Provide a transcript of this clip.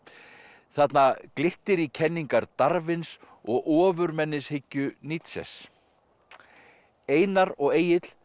þarna glittir í kenningar og ofurmennishyggju Nietzsches einar og Egill